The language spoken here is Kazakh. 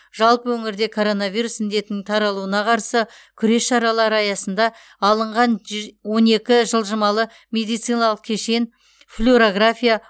жалпы өңірде коронавирус індетінің таралуына қарсы күрес шаралары аясында алынған он екі жылжымалы медициналық кешен флюрография